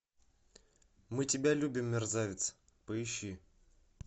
мы тебя любим мерзавец поищи